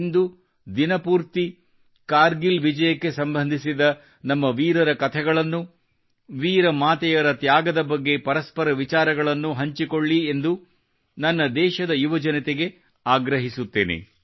ಇಂದು ದಿನಪೂರ್ತಿ ಕಾರ್ಗಿಲ್ ವಿಜಯಕ್ಕೆ ಸಂಬಂಧಿಸಿದ ನಮ್ಮ ವೀರರ ಕಥೇಗಳನ್ನು ವೀರ ಮಾತೆಯರ ತ್ಯಾಗದ ಬಗ್ಗೆ ಪರಸ್ಪರ ವಿಚಾರಗಳನ್ನು ಹಂಚಿಕೊಳ್ಳಿ ಎಂದು ನನ್ನ ದೇಶದ ಯುವಜನತೆಗೆ ಆಗ್ರಹಿಸುತ್ತೇನೆ